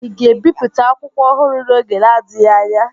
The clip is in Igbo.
Ị ga-ebipụta akwụkwọ ọhụrụ n'oge na-adịghị anya?